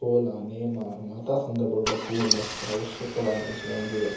ಕೋಲ ನೇಮ ಮಾತ ಸಂದರ್ಭಡ್ಲ ಪೂ ಮಸ್ತ್ ಅವಶ್ಯಕವಾಯಿನಂಚಿನ ಒಂಜಿ ವಸ್ತು.